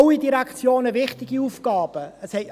Alle Direktionen haben wichtige Aufgaben;